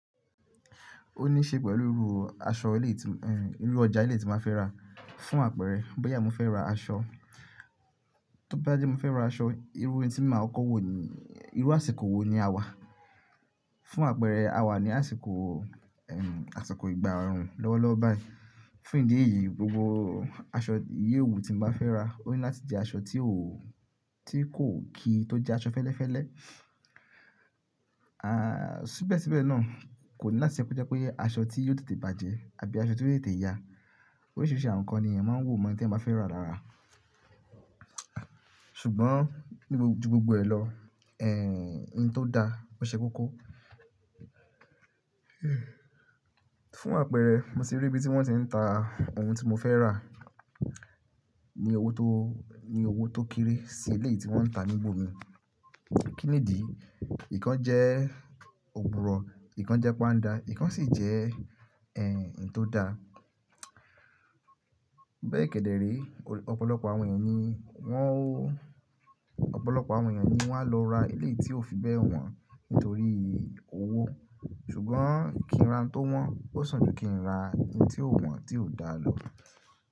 Ó ní ṣe pẹ̀lú irú aṣọ ilé tí m, irú ọjà ilé tí máa fẹ́ rà fún àpẹẹrẹ bóyá mo fẹ́ ra aṣọ, tó bá jẹ́ mo fẹ́ ra aṣọ irú etí máa kọkọ́ wo ni, irú àsìkò wo ni a wà. Fún àpẹẹrẹ a wà ní àsìkò, ẹm, àsìkò ìgbà òórùn lọ́wọ́lọ́wọ́ báyìí. Fún ìdí èyí gbogbo aṣọ ìyẹ̀wù tí mo máa fẹ́ rà ó ní láti jẹ́ aṣọ tí ò, tí kò kí tó jẹ́ aṣọ fẹ́lẹ́fẹ́lẹ́. À, síbẹ̀síbẹ̀ náà kò ní láti jẹ́ pé ó jẹ́ pé aṣọ tí yóò tètè bàjẹ́ àbí aṣọ tí ó lè tètè ya. Oríṣìíríṣìí àwọn nǹkan ni èèyàn máa ń wò mọ́ ẹni tí ẹ máa fẹ́ rà lára. Ṣùgbọ́n níbo ju gbogbo ẹ lọ, ẹ́hìn tó da ó ṣe kókó. Fún àpẹẹrẹ mo ti rí ibi tí wọ́n ti ń ta ohun tí mo fẹ́ rà ní owó tó, ní owó tó kéré sí eléyi tí wọ́n ń ta níbò mi. Kí nìdí? Ikán jẹ́ òpùrọ̀, ikán jẹ́ páńdà, ikán sì jẹ́ ẹ́hìn tó da. Bẹ́ẹ̀ kedere ọ̀pọ̀lọpọ̀ àwọn ènìyàn ni wọ́n ò, ọ̀pọ̀lọpọ̀ àwọn ènìyàn ni wá lọ ra eléyìí tí ó fi bẹ́ wọn nítorí owó ṣùgbọ́n kí n ra n tó wọ́n ó sàn ju kí n ra ẹ́hìn tí ò wọ́n tí ò da lọ.